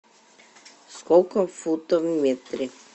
сколько футов в метре